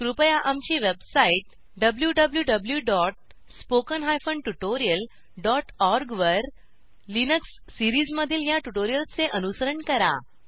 कृपया आमची website wwwspoken tutorialorg वर लिनक्स सिरीजमधील ह्या ट्युटोरियल चे अनुसरण करा